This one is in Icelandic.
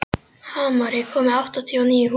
Hamar, ég kom með áttatíu og níu húfur!